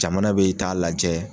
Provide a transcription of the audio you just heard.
Jamana bɛ lajɛ